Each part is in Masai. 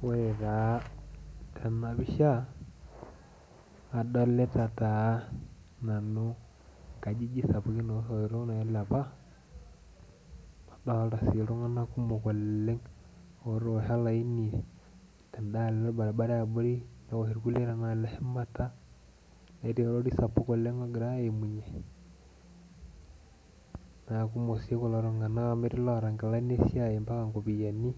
Ore taa tena pisha adolita taa nanu inkajijik sapukin osoitok nailepa, nadolita sii iltung'anak kumok oleng' otoosho olaini tendalo orbaribara eabori newosh irkulie tenaalo eshumata netii orori sapuk oleng' ogirae aimunyie' naa kumok sii kulo tung'anak amu etii iloota inkilani esiai mpaka inkopiyiani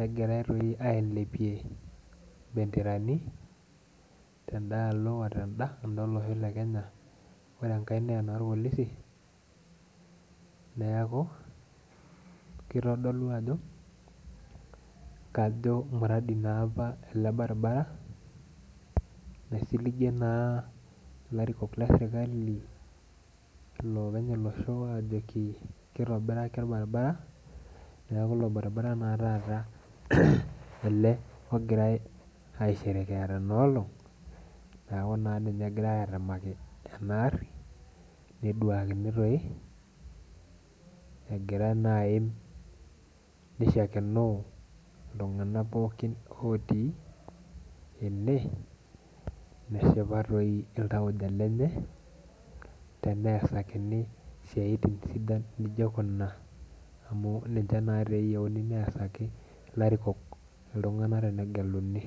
negirae toi ailepie imbenderani tendalo ote tenda olosho le kenya ore enkae naa enorpolisi neaku kitodolu ajo kajo mradi naa apa ele baribara naisiligie naa ilarikok le sirkali ilopeny olosho ajoki kitobiraki orbaribara, niaku ilo baribara naa taata ele ogirae ai sherekea tena olong' niaku ninye naa egirae atemaki ena arri neduakini toi, egira naa aim nishakenoo iltung'anak pookin otii ene neshipa toi iltauja lenye teneesakini isiatin sidan nijio kuna amu ninche naa teyieuni neasaki ilarikok iltung'anak tenegeluni.